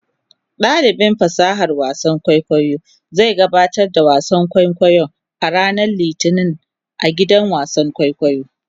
Dalibin fasahar wasan kwaikwayo zai gabatar da wasan kwaikwayo a ranar Litinin a gidan wasan kwaikwayo.